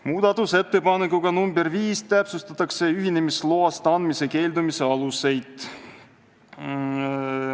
Muudatusettepanekuga nr 5 täpsustatakse ühinemisloa andmisest keeldumise aluseid.